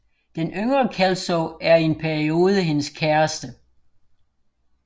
Den yngre Kelso er i en periode hendes kæreste